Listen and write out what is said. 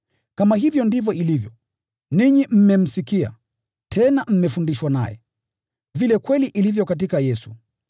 Kama hivyo ndivyo ilivyo, ninyi mmemsikia, tena mmefundishwa naye, vile kweli ilivyo katika Yesu.